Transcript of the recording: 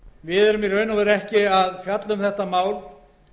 við erum því rauninni ekki að fjalla um þetta